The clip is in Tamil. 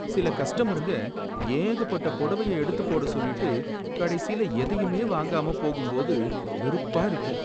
சில கஸ்டமருங்க ஏகப்பட்ட புடவையை எடுத்து போட சொல்லிட்டு கடைசியில எதையுமே வாங்காம போகும்போது வெறுப்பா இருக்கும்.